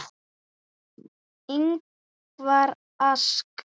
Ingvar asks.